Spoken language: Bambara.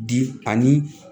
Bi ani